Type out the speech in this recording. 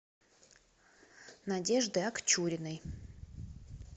надежды акчуриной